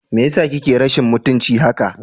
Me yasa kake rashin mutunci haka?